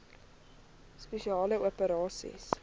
spesiale operasies dso